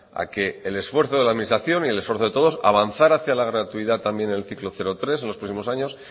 a que el esfuerzo de la administración y el esfuerzo de todos avanzar hacia la gratuidad en el ciclo cero tres en los próximos años